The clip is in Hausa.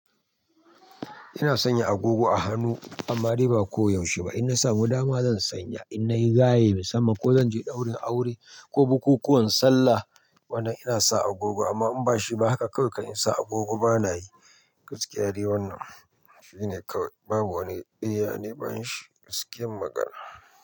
Ina sanya agogo a hannu amma dai ba ko yaushe ba. In na samu dama zan sanya, in nayi gaye musamman ko zan je ɗaurin aure ko bukukuwan sallah, wannan ina sa agogo amma in bashi ba haka kawai in sa agogo bana yi gaskiya dai wannan. Shi ne kawai babu wani daya ne bani shi gaskiyar magana.